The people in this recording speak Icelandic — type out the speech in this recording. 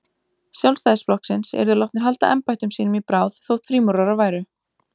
Sjálfstæðisflokksins, yrðu látnir halda embættum sínum í bráð, þótt frímúrarar væru.